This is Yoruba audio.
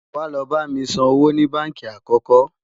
wá ló bá mí sàn owó ní bánkì àkókò